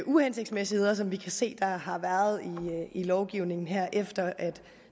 uhensigtsmæssigheder som vi kan se der har været i lovgivningen her efter at